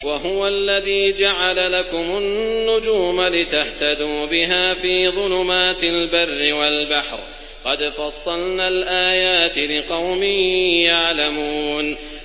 وَهُوَ الَّذِي جَعَلَ لَكُمُ النُّجُومَ لِتَهْتَدُوا بِهَا فِي ظُلُمَاتِ الْبَرِّ وَالْبَحْرِ ۗ قَدْ فَصَّلْنَا الْآيَاتِ لِقَوْمٍ يَعْلَمُونَ